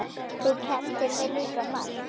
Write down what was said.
Þú kenndir mér líka margt.